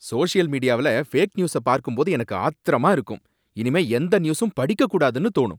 Social மீடியாவுல fake news பார்க்கும்போது எனக்கு ஆத்திரமா இருக்கும், இனிமே எந்த நியூஸும் படிக்கக் கூடாதுன்னு தோனும்.